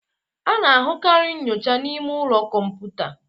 A na-ahụkarị nyocha n'ime ụlọ kọmputa.